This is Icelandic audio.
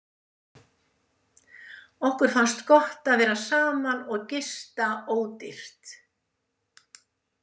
Okkur fannst gott að vera saman og gista ódýrt.